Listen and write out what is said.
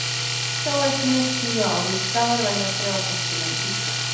Sjá einnig: Tíu álitsgjafar velja þrjá bestu menn Íslands